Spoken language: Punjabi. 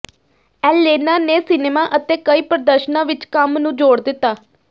ਐਲੇਨਾ ਨੇ ਸਿਨੇਮਾ ਅਤੇ ਕਈ ਪ੍ਰਦਰਸ਼ਨਾਂ ਵਿਚ ਕੰਮ ਨੂੰ ਜੋੜ ਦਿੱਤਾ